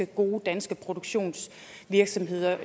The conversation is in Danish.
gode danske produktionsvirksomheder